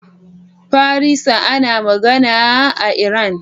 Farisa ana magana a Iran.